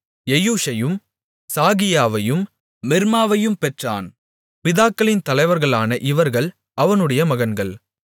எயூசையும் சாகியாவையும் மிர்மாவையும் பெற்றான் பிதாக்களின் தலைவர்களான இவர்கள் அவனுடைய மகன்கள்